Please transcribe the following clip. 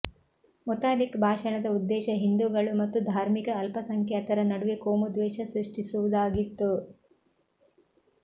ಮುತಾಲಿಕ್ ಭಾಷಣದ ಉದ್ದೇಶ ಹಿಂದೂಗಳು ಮತ್ತು ಧಾರ್ಮಿಕ ಅಲ್ಪಸಂಖ್ಯಾತರ ನಡುವೆ ಕೋಮು ದ್ವೇಷ ಸೃಷ್ಟಿಸುವುದಾಗಿತ್ತು